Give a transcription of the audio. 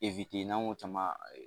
n'an y'o caman